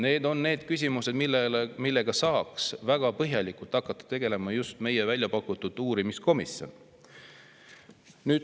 Need on need küsimused, millega saaks väga põhjalikult hakata tegelema just meie väljapakutud uurimiskomisjon.